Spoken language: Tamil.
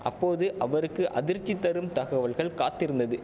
அப்போது அவருக்கு அதிர்ச்சி தரும் தகவல்கள் காத்திருந்தது